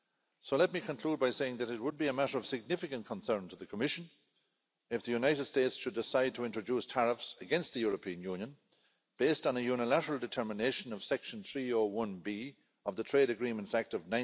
So let me conclude by saying that it would be a matter of significant concern to the Commission if the United States should decide to introduce tariffs against the European Union, based on a unilateral determination of Section 301B of the Trade Agreements Act of